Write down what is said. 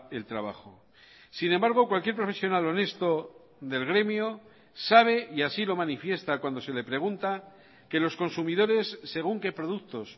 el trabajo sin embargo cualquier profesional honesto del gremio sabe y así lo manifiesta cuando se le pregunta que los consumidores según que productos